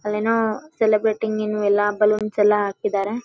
ಅಲ್ಲೇನೋ ಸೆಲೆಬ್ರೇಟಿಂಗ್ ಇನ್ನು ಎಲ್ಲಾ ಬಲೂನ್ಸ್ ಎಲ್ಲಾ ಹಾಕಿದಾರೆ.